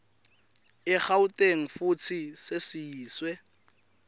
egauteng futsi sesiyiswe